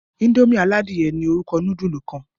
Indomie àlà Adìye ní orúkọ nudulu kán